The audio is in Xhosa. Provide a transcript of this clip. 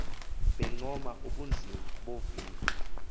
bencoma ubunzima boviwo